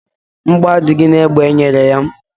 Mgbọ adịghị na egbe enyere ya.